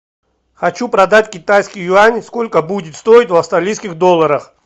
хочу продать китайский юань сколько будет стоить в австралийских долларах